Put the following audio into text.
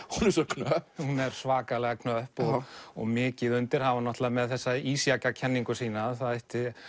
knöpp hún er svakalega knöpp og og mikið undir hann var náttúrulega með þessa sína að það ætti